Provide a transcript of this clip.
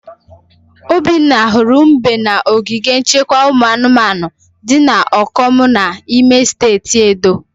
Obinna hụrụ mbe na ogige nchekwa ụmụ anụmanu di na Okomu n'ime steeti Edo.